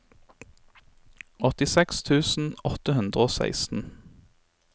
åttiseks tusen åtte hundre og seksten